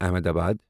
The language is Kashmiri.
احمدآباد